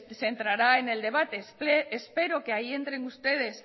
se entrará en el debate espero que ahí entren ustedes